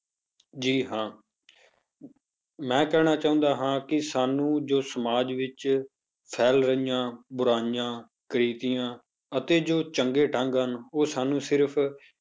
ਜੀ ਹਾਂ ਮੈਂ ਕਹਿਣਾ ਚਾਹੁੰਦਾ ਹਾਂ ਕਿ ਸਾਨੂੰ ਜੋ ਸਮਾਜ ਵਿੱਚ ਫੈਲ ਰਹੀਆਂ ਬੁਰਾਈਆਂ ਕੁਰੀਤੀਆਂ ਅਤੇ ਜੋ ਚੰਗੇ ਢੰਗ ਹਨ ਉਹ ਸਾਨੂੰ ਸਿਰਫ਼